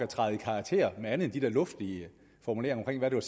træde i karakter med andet end de der luftige formuleringer om hvad det